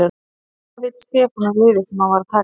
En hvað veit Stefán um liðið sem hann er að taka við?